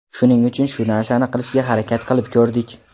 Shuning uchun shu narsani qilishga harakat qilib ko‘rdik.